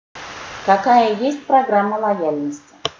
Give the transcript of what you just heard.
какая есть программа лояльности